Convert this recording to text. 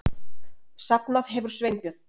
Safnað hefur Sveinbjörn